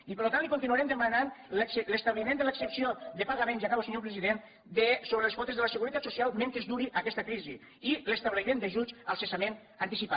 i per lo tant li continuarem demanant l’establiment de l’exempció de pagament ja acabo senyor president sobre les quotes de la seguretat social mentre duri aquesta crisi i l’establiment d’ajuts al cessament anticipat